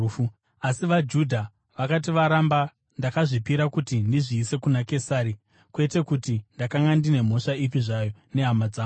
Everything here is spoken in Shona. Asi vaJudha vakati varamba ndakazvipira kuti ndizviise kuna Kesari, kwete kuti ndakanga ndine mhosva ipi zvayo nehama dzangu.